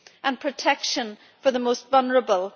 and protection for the most vulnerable.